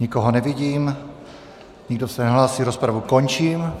Nikoho nevidím, nikdo se nehlásí, rozpravu končím.